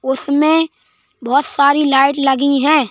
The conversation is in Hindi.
उसमें बहोत सारी लाइट लगी हैं।